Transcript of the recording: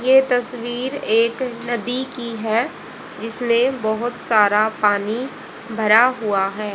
ये तस्वीर एक नदी की है जिसने बहोत सारा पानी भरा हुआ है।